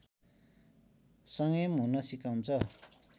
संयम हुन सिकाउँछ